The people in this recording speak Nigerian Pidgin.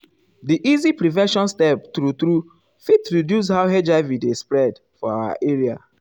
di easy prevention steps true true fit reduce how hiv dey spread um for our area.